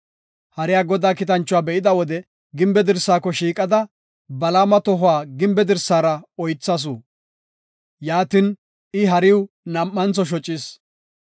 Hariya Godaa kiitanchuwa be7ida wode gimbe dirsaako shiiqida, Balaama tohuwa gimbe dirsara oythasu; yaatin I hariw nam7antho shocis.